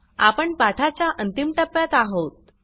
आपण पाठाच्या अंतिम टप्प्यात आहोत